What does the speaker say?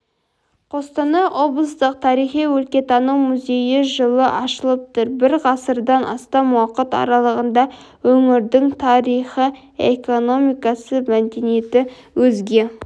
қостанай облыстық тарихи-өлкетану музейі жылы ашылыпты бір ғасырдан астам уақыт аралығында өңірдің тарихы экономикасы мәдениеті өзге